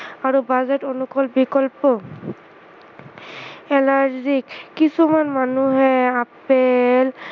আৰু বাজেট অনুকূল বিষয়টো, allergic কিছুমান মানুহে আপেল